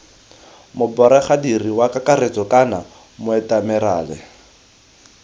moboregadiri wa kakaretso kana moatemerale